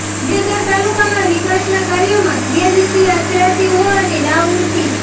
દિયોદર તાલુકામાં વિકાસના કાર્યોમાં ગેરરીતિ આચરાતી હોવાની રાવ ઊઠી